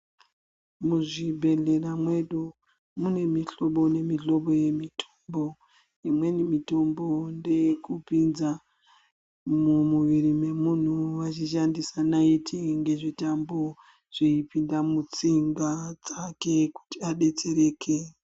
Muzvibhehlera mwedu mune mihlobo nemihlobo yemitombo. Imweni mitombo ndeye kupinza mumwiri mwemunhu eishandisa naiti ngezvitambo mutsinga dzake kuti adetsereke.